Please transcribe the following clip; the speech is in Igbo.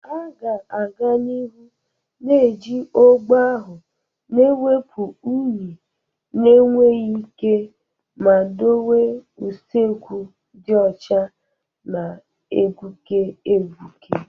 A ga-aga n'ihu na-eji ogbo ahụ na-ewepụ unyi na-enweghị ike ma dowe usekwu dị ọcha na-egbuke egbuke.